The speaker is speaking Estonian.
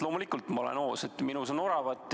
Loomulikult ma olen hoos, minus on oravat.